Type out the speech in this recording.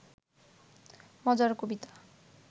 মজার কবিতা